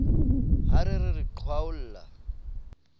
ha re re re qhwaolla